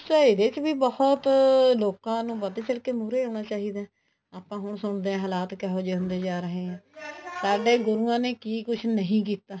ਇਹਦੇ ਚ ਬਹੁਤ ਲੋਕਾਂ ਨੂੰ ਵਧ ਚੜ ਕੇ ਮੁਹਰੇ ਆਉਣਾ ਚਾਹੀਦਾ ਆਪਾਂ ਹੁਣ ਸੁਣਦੇ ਆ ਹਾਲਤ ਕਿਹੋ ਜਿਹੜੇ ਹੁੰਦੇ ਜਾ ਰਹੇ ਆ ਸਾਡੇ ਗੁਰੂਆਂ ਨੇ ਕੀ ਕੁੱਛ ਨਹੀਂ ਕੀਤਾ